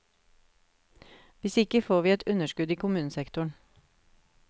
Hvis ikke får vi et underskudd i kommunesektoren.